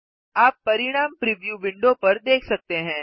आप परिणाम preview window पर देख सकते हैं